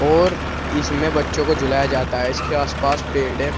और इसमें बच्चो को झूलाया जाता है इसके आस पास पेड़ है।